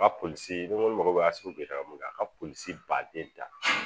Ka polisi ni ko a ka polisi baden ta